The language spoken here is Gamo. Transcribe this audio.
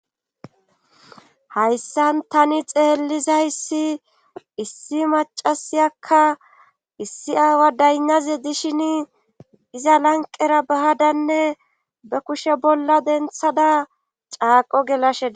hayssan tani xeellizayssi issi macasiyakka issi aawa daynnaze dishin iza lanqera bahadanne be kushe bolla denthada caaqo gelashea